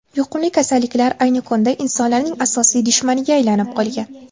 Yuqumli kasalliklar ayni kunda insonlarning asosiy dushmaniga aylanib qolgan.